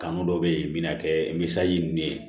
Kanu dɔ bɛ ye bina kɛ misali ninnu ye